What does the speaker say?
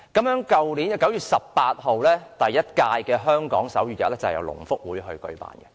去年9月18日的第一屆香港手語日是由香港聾人福利促進會舉辦的。